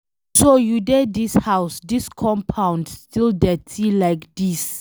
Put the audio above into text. So you dey dis house, dis compound still dirty like this